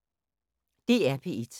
DR P1